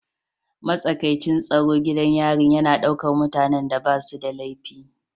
Matsakaicin tsaro gidan yarin yana ɗaukar mutanen da ba su da laifi